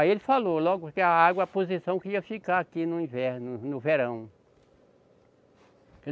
Aí ele falou logo que a água, a posição que ia ficar aqui no inverno, no verão.